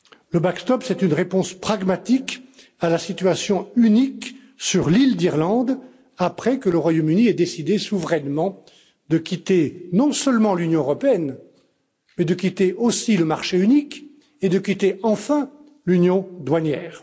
Le backstop c'est une réponse pragmatique à la situation unique sur l'île d'Irlande après que le Royaume Uni a décidé souverainement non seulement de quitter l'Union européenne, mais aussi de quitter le marché unique et de quitter, enfin, l'union douanière.